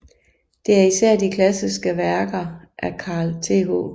Det er især de klassiske værker af Carl Th